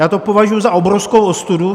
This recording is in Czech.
Já to považuji za obrovskou ostudu.